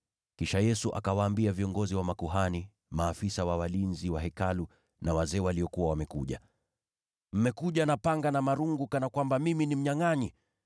Kisha Yesu akawaambia wale viongozi wa makuhani, maafisa wa walinzi wa Hekalu, pamoja na wazee waliokuwa wamekuja kumkamata, “Mmekuja na panga na marungu, kana kwamba mimi ni mnyangʼanyi?